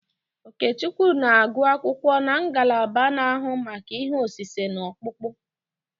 Okechukwu na-agụ akwụkwọ na ngalaba na-ahụ maka ihe osise na ọkpụkpụ.